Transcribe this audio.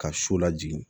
Ka so lajigin